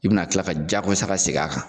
I bɛna tila ka jagosa segin a kan